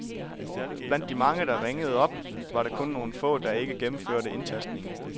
Blandt de mange , der ringede op, var der kun nogle få , der ikke gennemførte indtastningen.